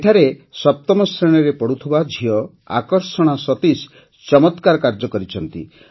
ଏଠାରେ ସପ୍ତମ ଶ୍ରେଣୀରେ ପଢ଼ୁଥିବା ଝିଅ ଆକର୍ଷଣା ସତୀଶ ଚମତ୍କାର କାର୍ଯ୍ୟ କରିଛନ୍ତି